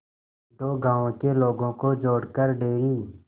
दो गांवों के लोगों को जोड़कर डेयरी